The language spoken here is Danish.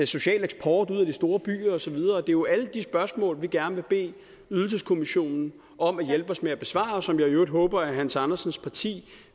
social eksport ud af de store byer og så videre det er jo alle de spørgsmål vi gerne vil bede ydelseskommissionen om at hjælpe os med at besvare og som jeg i øvrigt håber at hans andersens parti